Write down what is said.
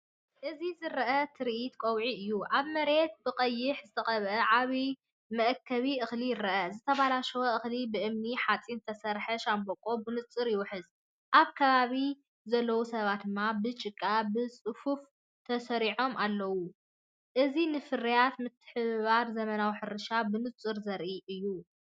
እዚ ዝረአ ትርኢት ቀውዒ እዩ። ኣብ መሬት ብቐይሕ ዝተቐብአ ዓቢ መእከቢ እኽሊ ይርአ፣ ዝተበላሸወ እኽሊ ብእምኒ-ሓጺን ዝተሰርሐ ሻምብቆ ብንጹር ይውሕዝ። ኣብ ከባቢኣ ዘለዉ ሰባት ብጭቃ ብጽፉፍ ተሰሪዖም ኣለዉ፣ እዚ ንፍርያት፡ ምትሕብባርን ዘመናዊ ሕርሻን ብንጹር ዘርኢ እዩ።